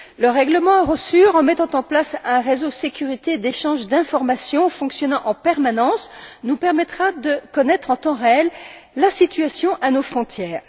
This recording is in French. Le règlement Eurosur, en mettant en place un réseau de sécurité et d'échange d'informations fonctionnant en permanence, nous permettra de connaître, en temps réel, la situation à nos frontières.